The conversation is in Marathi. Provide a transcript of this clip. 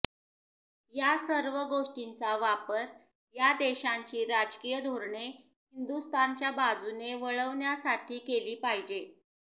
या सर्व गोष्टींचा वापर या देशांची राजकीय धोरणे हिंदुस्थानच्या बाजूने वळवण्यासाठी केली पाहिजे